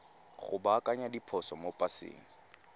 go baakanya diphoso mo paseng